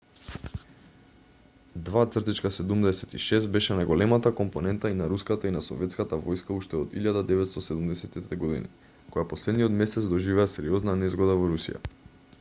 ii-76 беше најголемата компонента и на руската и на советската војска уште од 1970-ите години која последниот месец доживеа сериозна незгода во русија